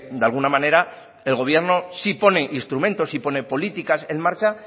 de alguna manera el gobierno sí pone instrumentos y pone políticas en marcha